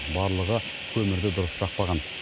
барлығы көмірді дұрыс жақпаған